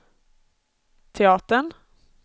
teatern